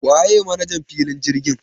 Waye manajan filin jirgin?